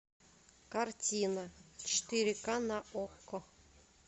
картина четыре ка на окко